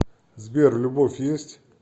сбер любовь есть